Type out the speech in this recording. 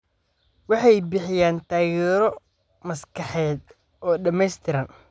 Waxay bixiyaan taageero maskaxeed oo dhamaystiran.